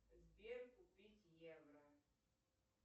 сбер купить евро